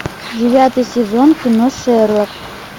девятый сезон кино шерлок